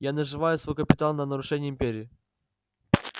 я наживаю свой капитал на нарушении империи